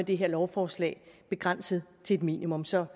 det her lovforslag begrænset til et minimum så